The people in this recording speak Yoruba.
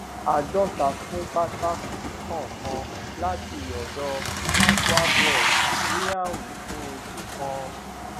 àádóta fún pátá kọọkan láti ọdọ patwa bros ní àwìn fún oṣù kan